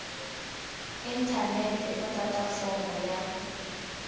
inthanete no tata fomo ya